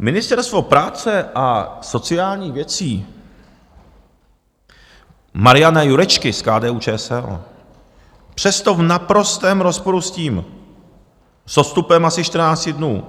Ministerstvo práce a sociálních věcí Mariana Jurečky z KDU-ČSL přesto v naprostém rozporu s tím, s odstupem asi 14 dnů